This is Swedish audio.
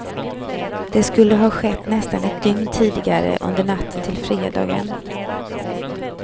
Det skulle ha skett nästan ett dygn tidigare, under natten till fredagen.